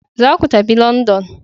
Za ku tafi London!